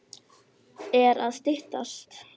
Hversu margar glerkúlur eru í pokanum af hverjum lit?